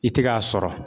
I tɛ k'a sɔrɔ